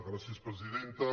gràcies presidenta